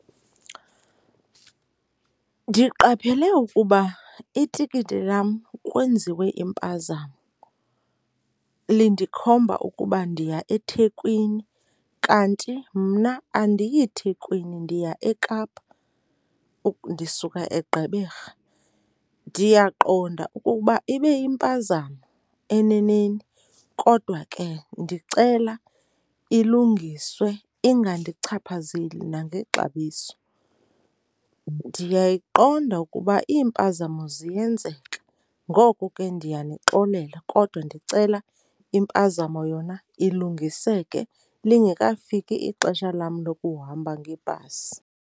Ndiqaphele ukuba itikiti lam kwenziwe impazamo, lindikhomba ukuba ndiya eThekwini kanti mna andiyiThekwini, ndiya eKapa ndisuka eGqeberha. Ndiyaqonda ukuba ibe yimpazamo eneneni kodwa ke ndicela ilungiswe ingandichaphazeli nangexabiso. Ndiyayiqonda ukuba iimpazamo ziyenzeka ngoko ke ndiyanixolela, kodwa ndicela impazamo yona ilungiseke lingekafiki ixesha lam lokuhamba ngebhasi.